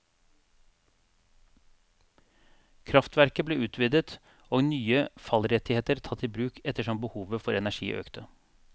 Kraftverket ble utvidet og nye fallrettigheter tatt i bruk ettersom behovet for energi økte.